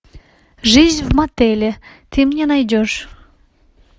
жизнь в мотеле ты мне найдешь